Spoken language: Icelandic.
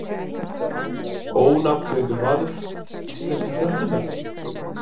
Ónafngreindur maður: Íslensku stelpurnar?